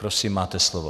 Prosím, máte slovo.